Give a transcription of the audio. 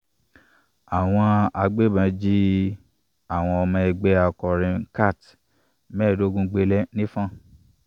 àwọn agbébọn jí àwọn ọmọ ẹgbẹ akọrin Cat mẹẹdogun gbele ni fọn